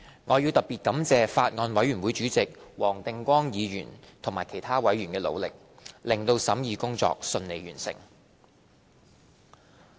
我要特別感謝法案委員會主席黃定光議員及其他委員的努力，令審議工作順利完成。